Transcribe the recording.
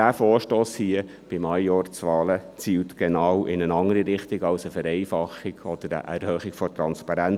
Doch dieser Vorstoss hier zu den Majorzwahlen, zielt in eine genau andere Richtung als hin zu einer Vereinfachung oder einer Erhöhung der Transparenz.